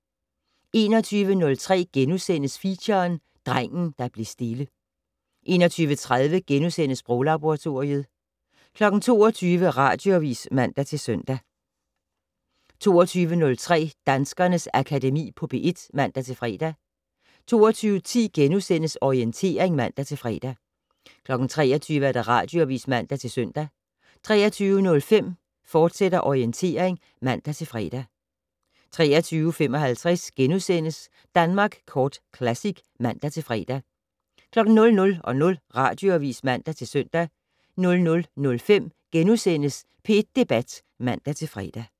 21:03: Feature: Drengen der blev stille * 21:30: Sproglaboratoriet * 22:00: Radioavis (man-søn) 22:03: Danskernes Akademi på P1 (man-fre) 22:10: Orientering *(man-fre) 23:00: Radioavis (man-søn) 23:05: Orientering, fortsat (man-fre) 23:55: Danmark Kort Classic *(man-fre) 00:00: Radioavis (man-søn) 00:05: P1 Debat *(man-fre)